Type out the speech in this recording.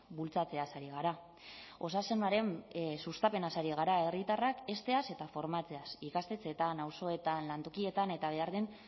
bultzatzeaz ari gara osasunaren sustapenaz ari gara herritarrak hezteaz eta formatzeaz ikastetxeetan auzoetan lantokietan eta behar den